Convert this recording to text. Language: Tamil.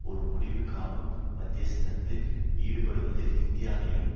ஒரு முடிவு காணும் மத்தியஸ்தத்தில் ஈடுபடுவதில் இந்தியாவையும்